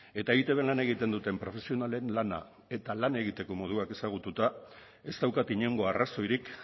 eta eitbn lan egiten duten profesionalen lana eta lan egiteko moduak ezagututa ez daukat inongo arrazoirik